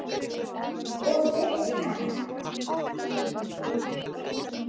Og finnst enn.